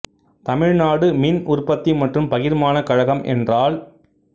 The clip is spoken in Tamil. தமிழ் நாடு மின் உற்பத்தி மற்றும் பகிர்மான கழகம் என்றால்